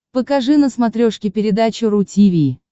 покажи на смотрешке передачу ру ти ви